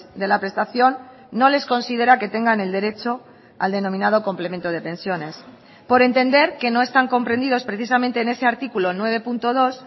de la prestación no les considera que tengan el derecho al denominado complemento de pensiones por entender que no están comprendidos precisamente en ese artículo nueve punto dos